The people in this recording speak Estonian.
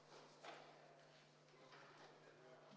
Austatud Riigikogu!